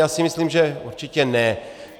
Já si myslím, že určitě ne.